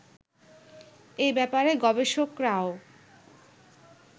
এ ব্যাপারে গবেষকরাও